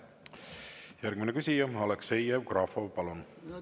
Järgmine küsija, Aleksei Jevgrafov, palun!